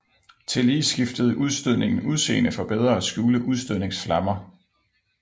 Tillige skifede udstødningen udseende for bedre at skjule udstødningsflammer